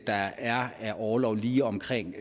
der er af orlov lige omkring